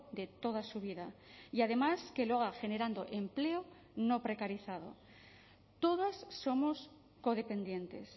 de toda su vida y además que lo haga generando empleo no precarizado todas somos codependientes